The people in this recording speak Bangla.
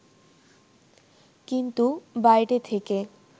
কিন্তু বাইরে থেকে